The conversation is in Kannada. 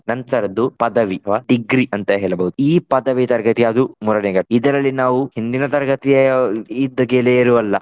ನಂತರದ್ದು ಪದವಿ ಅಥವಾ degree ಅಂತ ಹೇಳಬಹುದು. ಈ ಪದವಿ ತರಗತಿ ಅದು ಇದರಲ್ಲಿ ನಾವು ಹಿಂದಿನ ತರಗತಿ ಇದ್ದ ಗೆಳೆಯರು ಅಲ್ಲ.